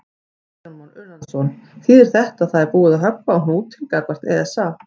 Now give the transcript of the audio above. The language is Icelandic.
Kristján Már Unnarsson: Þýðir þetta að það er búið að höggva á hnútinn gagnvart ESA?